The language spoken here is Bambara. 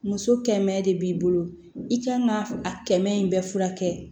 Muso kɛmɛ de b'i bolo i kan ka a kɛmɛ in bɛɛ furakɛ